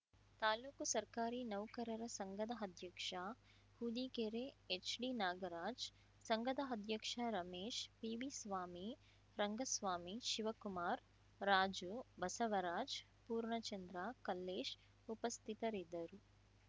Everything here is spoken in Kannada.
ತಾಲೂಕು ಸರ್ಕಾರಿ ನೌಕರರ ಸಂಘದ ಅಧ್ಯಕ್ಷ ಹೊದಿಗೆರೆ ಎಚ್‌ಡಿನಾಗರಾಜ್‌ ಸಂಘದ ಅಧ್ಯಕ್ಷ ರಮೇಶ್‌ ಪಿವಿಸ್ವಾಮಿ ರಂಗಸ್ವಾಮಿ ಶಿವಕುಮಾರ್ ರಾಜು ಬಸವರಾಜ್‌ ಪೂರ್ಣ ಚಂದ್ರ ಕಲ್ಲೇಶ್‌ ಉಪಸ್ಥಿತರಿದ್ದರು